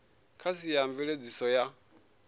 kha sia a mveledziso ya